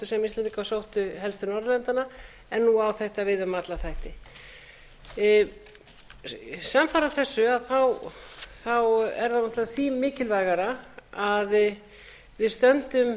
til norðurlandanna en nú á þetta við um alla þætti samfara þessu er það náttúrlega því mikilvægara að við stöndum